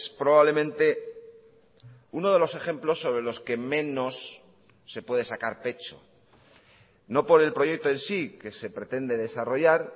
probablemente uno de los ejemplos sobre los que menos se puede sacar pecho no por el proyecto en sí que se pretende desarrollar